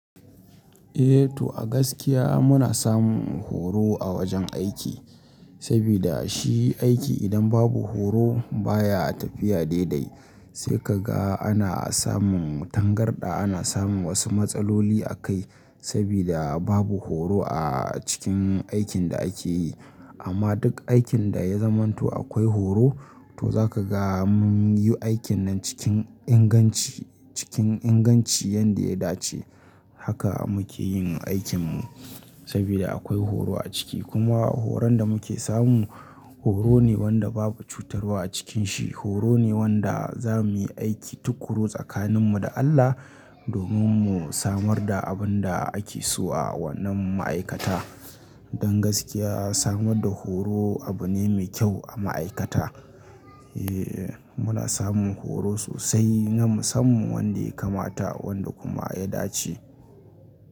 Eh to a gaskiya muna samun horo a wajen aiki, sabida shi aiki idan babu horo baya tafiya daidai. Sai ka ga ana samun tangarɗa, ana samun wasu matsaloli a kai sabida babu horo a cikin aikin da ake yi. Amma duk aikin da ya zamanto akwai horo, to zaka ga mun yi aikin nan cikin inganci, cikin inganci yanda ya dace. Haka muke yin aikin mu sabida akwai horo a ciki. Kuma horon da muke samu horo ne wanda babu cutarwa a cikin shi. Horo ne wanda za muyi aiki tukuru tsakanin mu da Allah, domin mu samar da abin da ake so a wannan ma'aikata. Don gaskiya samar da horo abu ne mai kyau a ma'aikata. Eh muna samun horo sosai, namu samun wanda ya kamata wanda kuma ya dace.